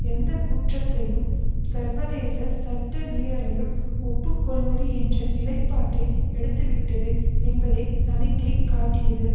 எந்தக்குற்றத்தையும் சர்வதேச சட்ட மீறலையும் ஒப்புக்கொள்வது என்ற நிலைப்பாட்டை எடுத்துவிட்டது என்பதை சமிக்கை காட்டியது